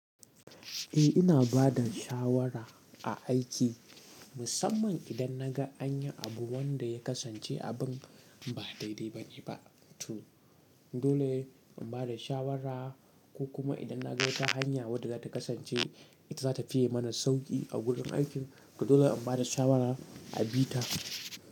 Eh ina bada shawara a aiki, musamman idan naga anyi abu wanda ya kasance abin ba daidai ba ne ba. To dole in bada shawara, ko kuma idan naga wata hanya wadda za ta kasance ita za ta fiye mana sauƙi a gurin aikin, to dole in bada shawara a bi ta.